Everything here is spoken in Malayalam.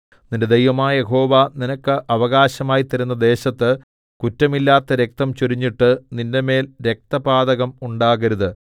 നിന്റെ ദൈവമായ യഹോവ നിനക്ക് അവകാശമായി തരുന്ന ദേശത്ത് കുറ്റമില്ലാത്ത രക്തം ചൊരിഞ്ഞിട്ട് നിന്റെമേൽ രക്തപാതകം ഉണ്ടാകരുത്